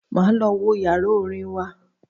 Máa lọ wo yàrá orin wa.